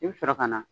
I bɛ sɔrɔ ka na